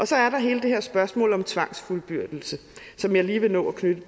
så er der hele det her spørgsmål om tvangsfuldbyrdelse som jeg lige vil nå at knytte